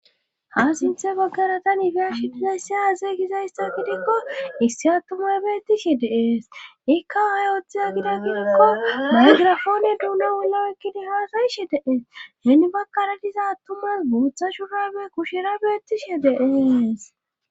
ha sinthe baggaratan beyashi dizaysse aazey gizayssa gidikko issi attumay beettishi deees ikka hayotheza gida gidikko maygirafoone duuno wullo ekkidi haasayishe deees henni bakkara diza attumas guutha shuhabe kushera beettishe deees